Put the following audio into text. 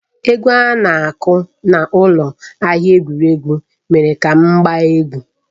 Egwu a na-aku n’ụlọ ahịa egwuregwu mere ka m gbaa egwu.